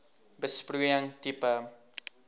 besproeiing tipe